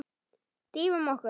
Drífum okkur.